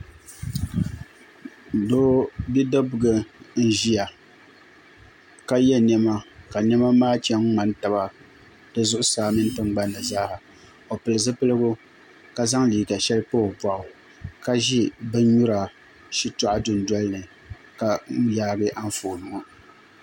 Bidibiga n ziya ka yiɛ nɛma ka nɛma maa chɛn n ŋmani taba di zuɣusaa mini di gbunni zaaha o pili zupiligu ka zaŋ liiga shɛli n pa o bɔɣu ka zi bini nyura shitɔɣu du noli ni ka yaagi anfooni ŋɔ.